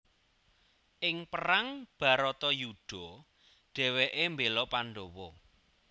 Ing perang Bharatayudha dhèwèké mbéla Pandawa